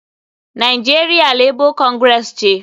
Nigeria Labour Congress ce.